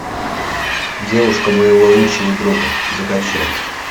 девушка моего лучшего друга закачай